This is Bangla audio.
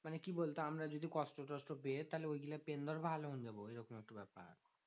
মানে কি বলতো? আমরা যদি কষ্ট টোস্ট পেয়ে তাহলে ওই গুলো পেয়েন ধর ভালো মন্দ বললো। এরকম একটা ব্যাপার।